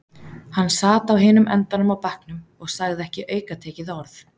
Hann sat á hinum endanum á bekknum og sagði ekki aukatekið orð.